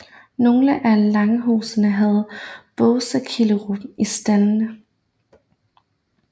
Nogle af langhusene havde båseskillerum i staldenden